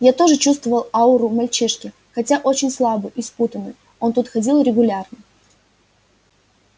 я тоже чувствовал ауру мальчишки хотя очень слабую и спутанную он тут ходил регулярно